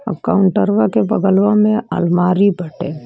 और कावंटर्वाके बगल्वामे अल्मारी बटे।